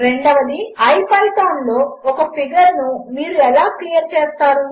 రెండవది ipythonలోఒకఫిగర్నుమీరుఎలాక్లియర్చేస్తారు